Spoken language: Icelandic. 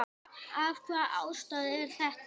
Af hvaða ástæðu er þetta?